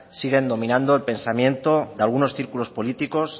siguen dominando el pensamiento de algunos círculos políticos